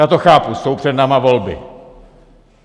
Já to chápu, jsou před námi volby.